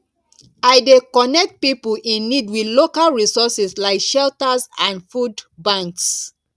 i dey connect pipo in need with local resources like shelters and food banks